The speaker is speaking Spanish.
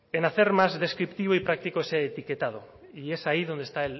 en hacer más descriptivo y práctico ese etiquetado y es ahí donde está